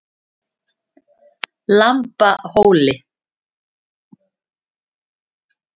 Lambhóli